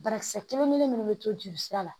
Banakisɛ kelen kelen minnu bɛ to joli sira la